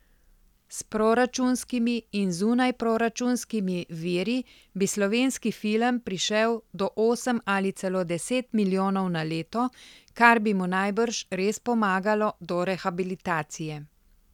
S proračunskimi in zunajproračunskimi viri bi slovenski film prišel do osem ali celo deset milijonov na leto, kar bi mu najbrž res pomagalo do rehabilitacije.